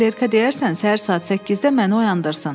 Klerka deyərsən səhər saat 8-də məni oyandırsın.